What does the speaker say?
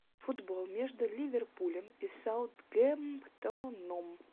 футбол между ливерпулем и саутгемптоном